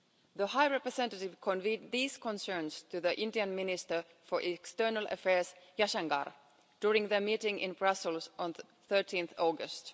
The High Representative conveyed these concerns to the Indian Minister for External Affairs, Mr Jaishankar, during their meeting in Brussels on 13 August.